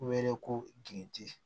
Wele ko giritan